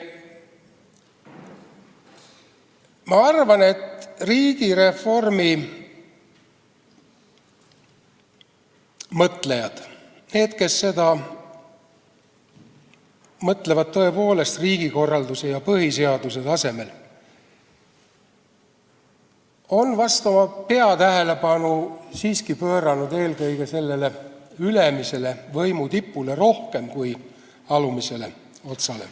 Ma arvan, et riigireformist mõtlejad, need, kes sellest mõtlevad tõepoolest riigikorralduse ja põhiseaduse tasemel, on peatähelepanu pööranud siiski rohkem võimu tipule, mitte alumisele otsale.